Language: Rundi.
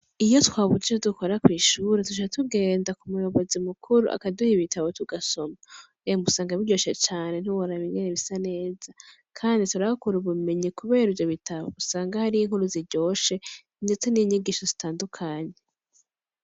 Iyo twabuze ivyo dukora kw'ishuri duca tugenda ku mu yobozi mu kuru akaduha ibitabo tugasoma emwe usanga biryoshe cane nti woraba ingene bisa neza kandi turahakura ubumenyi kubera ivyo bitabo usanga hariyo inkuru ziryoshe ndetse n'inyigisho zitandukanye.